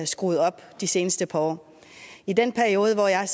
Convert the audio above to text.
skruet op de seneste par år i den periode hvor jeg har